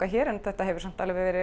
hér en þetta hefur samt